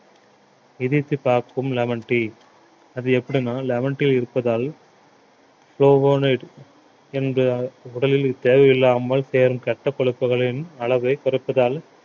எதிர்த்து காக்கும் lemon tea அது எப்படின்னா lemon tea இருப்பதால் என்ற உடலில் தேவையில்லாமல் தேறும் கெட்ட கொழுப்புகளின் அளவை குறைப்பதால்